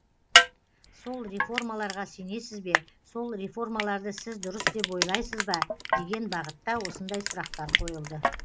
сол реформаларға сенесіз бе сол реформаларды сіз дұрыс деп ойлайсыз ба деген бағытта осындай сұрақтар қойылды